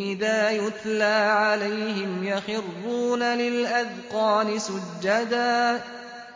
إِذَا يُتْلَىٰ عَلَيْهِمْ يَخِرُّونَ لِلْأَذْقَانِ سُجَّدًا